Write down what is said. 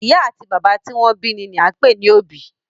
Ì̀yá àti bàbá tí wọn bí ni ni à ń pè ní òbí.